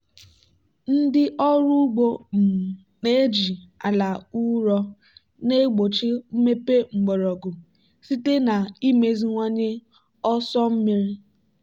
ndị ọrụ ugbo um na-eji ala ụrọ na-egbochi mmepe mgbọrọgwụ site na imeziwanye ọsọ mmiri.